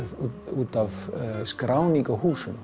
út af skráningu á húsum